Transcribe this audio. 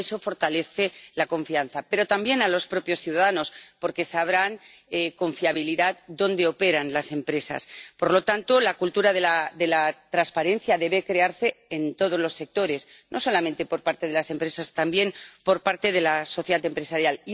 Y eso fortalece la confianza, pero también a los propios ciudadanos, porque sabrán con fiabilidad dónde operan las empresas. Por lo tanto, la cultura de la transparencia debe crearse en todos los sectores, no solamente por parte de las empresas, también por parte de la sociedad empresarial.